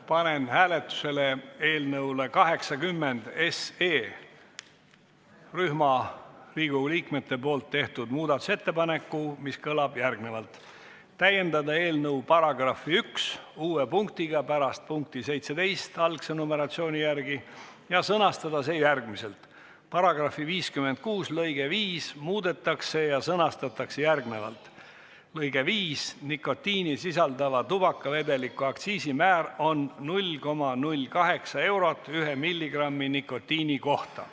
Panen hääletusele eelnõu 80 kohta rühma Riigikogu liikmete poolt tehtud muudatusettepaneku, mis kõlab järgmiselt: "Täiendada eelnõu § 1 uue punktiga pärast punkti 17 ja sõnastada see järgmiselt: "paragrahvi 56 lõige 5 muudetakse ja sõnastatakse järgnevalt: " Nikotiini sisaldava tubakavedeliku aktsiisimäär on 0,008 eurot ühe milligrammi nikotiini kohta."